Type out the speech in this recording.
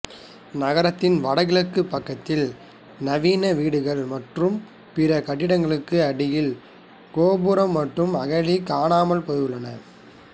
நகரத்தின் வடகிழக்கு பக்கத்தில் நவீன வீடுகள் மற்றும் பிற கட்டிடங்களுக்கு அடியில் கோபுரம் மற்றும் அகழி காணாமல் போயுள்ளன